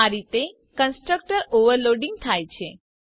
આ રીતે constructor overloading થાય છે